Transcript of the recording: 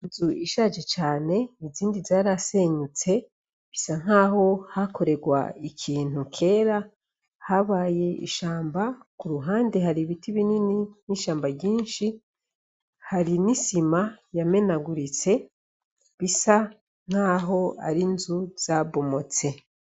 Inzu ishaje cane izindi zarasenyutse bisa nkaho hakorerwa ikintu kera habaye ishamba, ku ruhande hari ibiti binini n'ishamba ryishi hari n'isima yamenaguritse bisa nkaho ari inzu zabomotse.